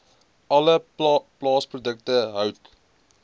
alle plaasprodukte hout